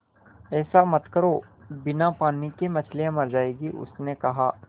ऐसा मत करो बिना पानी के मछलियाँ मर जाएँगी उसने कहा